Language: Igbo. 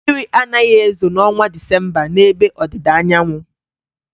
Mmiri anaghị ezo n'ọnwa Disemba n'ebe Ọdịdaanyaanwụ.